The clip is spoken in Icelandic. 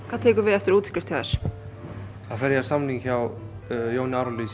hvað tekur við eftir útskrift þá fer ég á samning hjá Jóni